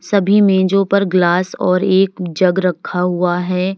सभी मेजो पर ग्लास और एक जग रखा हुआ है।